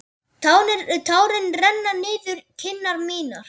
Tárin renna niður kinnar mínar.